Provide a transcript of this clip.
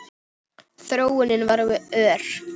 Þróunin var ör.